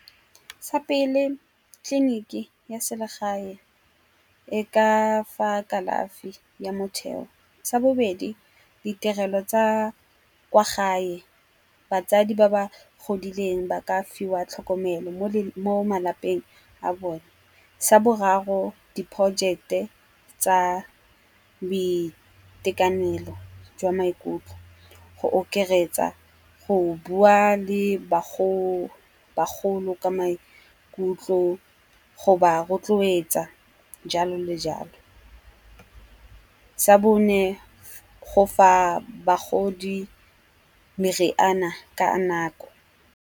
Sa pele tleliniki ya selegae e ka fa kalafi ya motheo. Sa bobedi ditirelo tsa kwa gae, batsadi ba ba godileng ba ka fiwa tlhokomelo mo malapeng a bone. Sa boraro di-project-e tsa boitekanelo jwa maikutlo go okeretsa go bua le bagolo ka maikutlo go ba rotloetsa jalo le jalo. Sa bone go fa bagodi meriana ka nako.